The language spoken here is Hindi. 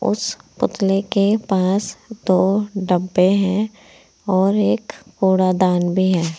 उस पुतले के पास दो डब्बे हैं और एक कूड़ा दान भी है।